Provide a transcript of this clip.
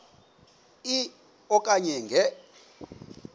e okanye nge